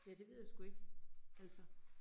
Ja det ved jeg sgu ikke, altså